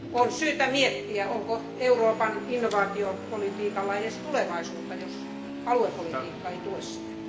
On syytä miettiä, onko Euroopan innovaatiopolitiikalla edes tulevaisuutta, jos aluepolitiikka ei tue sitä?